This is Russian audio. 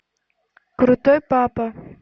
крутой папа